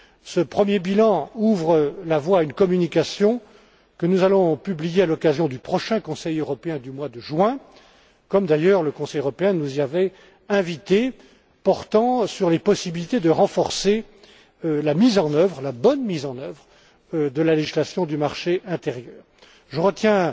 Ce premier bilan ouvre la voie à une communication que nous allons publier à l'occasion du prochain Conseil européen du mois de juin comme d'ailleurs le Conseil européen nous y avait invités portant sur les possibilités de renforcer la bonne mise en œuvre de la législation du marché intérieur. Je retiens